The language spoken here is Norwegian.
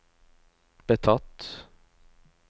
betatt